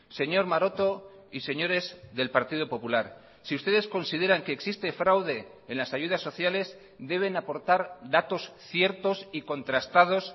señor maroto y señores del partido popular si ustedes consideran que existe fraude en las ayudas sociales deben aportar datos ciertos y contrastados